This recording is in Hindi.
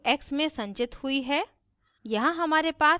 फिर sum की value x में संचित हुई है